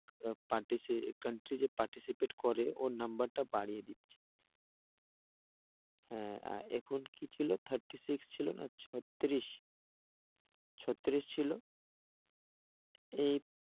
country যে participate করে ওর number টা বাড়িয়ে দিচ্ছে। হ্যাঁ এখন কি ছিল thirty-six ছিল না? ছত্রিশ ছত্রিশ ছিল। এই